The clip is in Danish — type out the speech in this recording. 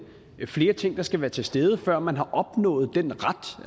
er flere ting der skal være til stede før man har opnået den ret